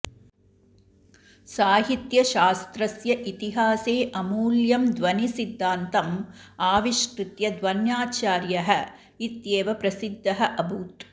साहित्यशास्त्रस्य इतिहासे अमूल्यं ध्वनिसिद्धान्तम् आविष्कृत्य ध्वन्याचार्यः इत्येव प्रसिद्धः अभूत्